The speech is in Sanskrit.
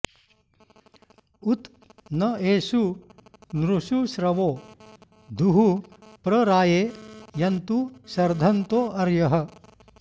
उत न एषु नृषु श्रवो धुः प्र राये यन्तु शर्धन्तो अर्यः